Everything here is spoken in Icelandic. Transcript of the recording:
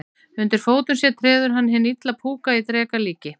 Undir fótum sér treður hann hinn illa púka í dreka líki.